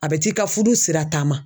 A bɛ t'i ka furu sirataama